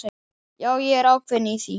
Já, ég er ákveðinn í því.